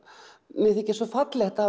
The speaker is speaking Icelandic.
mér þykir svo fallegt að